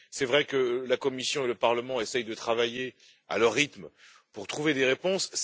Il est vrai que la Commission et le Parlement essaient de travailler, à leur rythme, pour trouver des réponses.